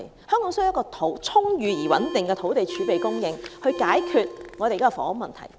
香港需要充裕而穩定的土地儲備供應，才能解決現時的房屋問題。